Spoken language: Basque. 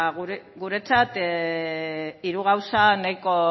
guretzat hiru gauza nahiko